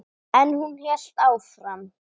En hún hélt áfram.